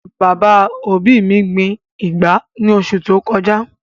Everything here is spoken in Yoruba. Bàbá òbí mi gbin ìgbá ní oṣù tó kọjá